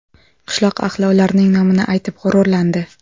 Qishloq ahli ularning nomini aytib g‘ururlandi.